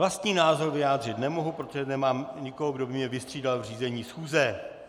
Vlastní názor vyjádřit nemohu, protože nemám nikoho, kdo by mě vystřídal v řízení schůze.